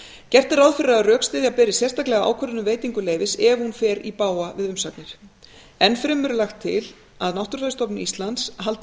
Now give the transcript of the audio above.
gert er ráð fyrir að rökstyðja beri sérstaklega ákvörðun um veitingu leyfis ef hún fer í bága við umsagnir enn fremur er lagt til að náttúrufræðistofnun íslands haldi